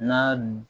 N ka dun